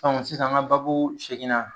Sisan an ga baabu seginna